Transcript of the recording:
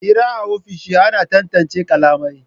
Hira a ofisoshi ana tantance kalamai